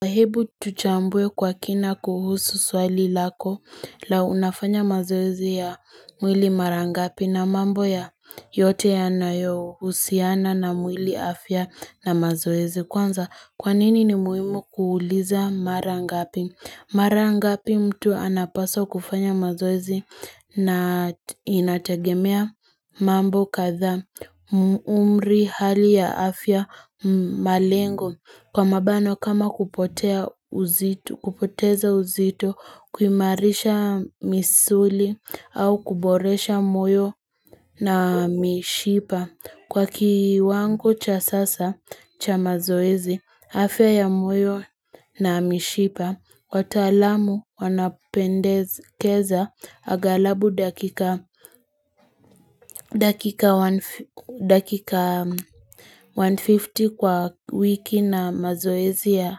Hebu tuchambue kwa kina kuhusu swali lako la unafanya mazoezi ya mwili mara ngapi, na mambo ya yote yanayohusiana na mwili afya na mazoezi. Kwanza kwanini ni muhimu kuuliza mara ngapi, Mara ngapi mtu anapaswa kufanya mazoezi na inatagemea mambo kadhaa umri, hali ya afya, malengo Kwa mabano kama kupotea uzito kupoteza uzito, kuimarisha misuli au kuboresha moyo na mishipa. Kwa kiwango cha sasa cha mazoezi, afya ya moyo na mishipa. Wataalamu wanapendezekeza agalabu dakika dakika 150 kwa wiki na mazoezi ya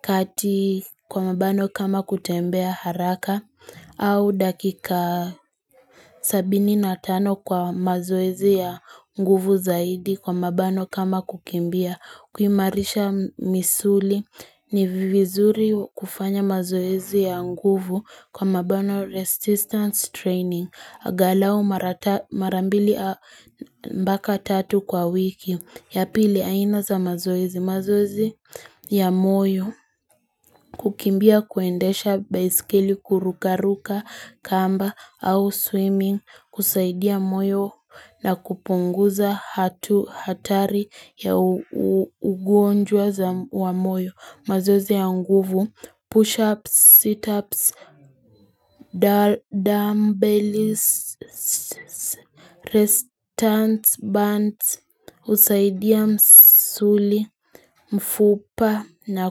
kati kwa mabano kama kutembea haraka au dakika sabini na tano kwa mazoezi ya nguvu zaidi kwa mabano kama kukimbia kuimarisha misuli ni vizuri kufanya mazoezi ya nguvu kwa mabano resistance training. Agalao mara ta mara mbili mbaka tatu kwa wiki. Ya pili aina za mazoezi. Mazoezi ya moyo. Kukimbia kuendesha baiskeli kurukaruka kamba au swimming. Husaidia moyo na kupunguza hatu hatari ya ugonjwa za wa moyo mazoezi ya nguvu, push-ups, sit-ups, dumb bellys, restants, bands husaidia msuli, mfupa na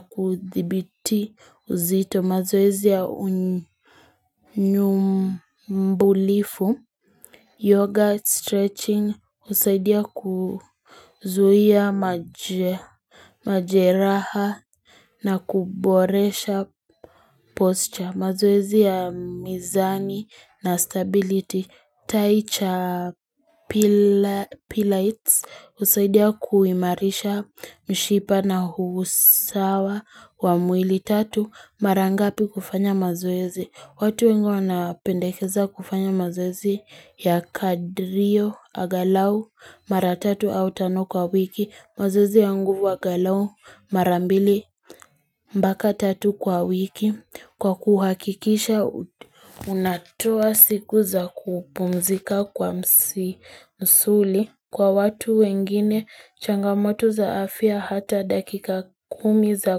kuthibiti uzito mazoezi ya unyumbulifu Yoga, stretching, husaidia kuzuia majeraha na kuboresha posture. Mazoezi ya mizani na stability. Taicha pila pilates, husaidia kuimarisha mishipa na huusawa wa mwili. Tatu. Mara ngapi kufanya mazoezi. Watu wengi anapendekeza kufanya mazoezi ya kadrio agalau mara tatu au tano kwa wiki mazoezi ya nguvu agalau mara mbili mpaka tatu kwa wiki kwa kuhakikisha unatoa siku za kupumzika kwa msi msuli. Kwa watu wengine, changamoto za afia hata dakika kumi za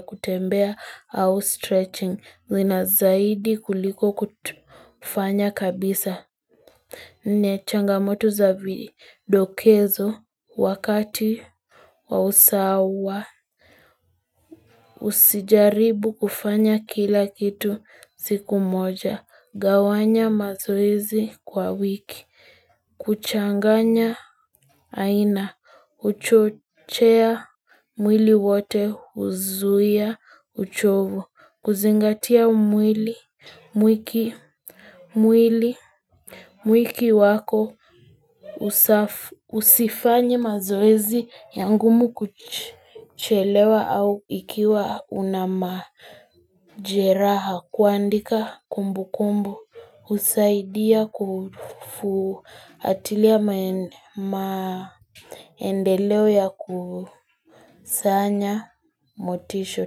kutembea au stretching. Zina zaidi kuliko kufanya kabisa. Nne changamoto za vidokezo wakati wa usawa. Usijaribu kufanya kila kitu siku moja. Gawanya mazoizi kwa wiki. Kuchanganya aina. Huchochea mwili wote huzuia uchovu. Kuzingatia mwili mwiki mwili mwiki wako usifanye mazoezi ya ngumu kuchelewa au ikiwa una majeraha. Kuandika kumbu kumbu, husaidia kufuatilia mae maendeleo ya kusanya motisho.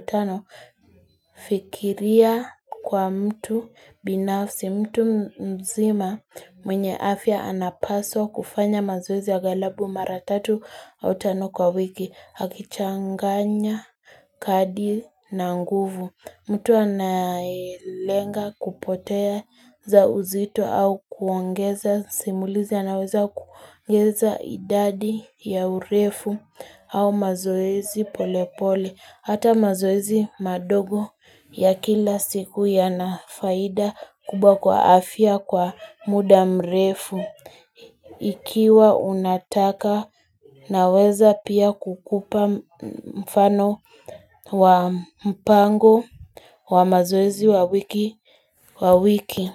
Tano, fikiria kwa mtu binafsi, mtu mzima, mwenye afya anapaswa kufanya mazoezi angalabu mara tatu, au tano kwa wiki akichanganya kadi na nguvu. Mtu anayelenga kupotea za uzito au kuongeza simulizi anaweza kuongeza idadi ya urefu au mazoezi pole pole. Hata mazoezi madogo ya kila siku yana faida kubwa kwa afia kwa muda mrefu. Ikiwa unataka naweza pia kukupa mfano wa mpango wa mazoezi wa wiki.